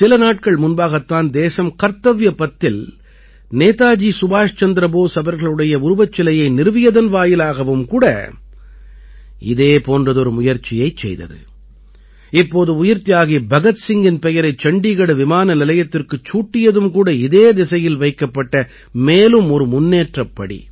சில நாட்கள் முன்பாகத் தான் தேசம் கர்த்தவ்ய பத்தில் நேதாஜி சுபாஷ்சந்திர போஸ் அவர்களுடைய உருவச்சிலையை நிறுவியதன் வாயிலாகவும் கூட இதே போன்றதொரு முயற்சியைச் செய்தது இப்போது உயிர்த்தியாகி பகத் சிங்கின் பெயரை சண்டீகட் விமானநிலையத்திற்குச் சூட்டியதும் கூட இதே திசையில் வைக்கப்பட்ட மேலும் ஒரு முன்னேற்றப்படி